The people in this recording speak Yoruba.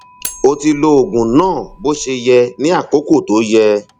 o ti lo oògùn náà bó ṣe yẹ ní àkókò tó yẹ